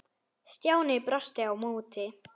Stjáni brosti á móti.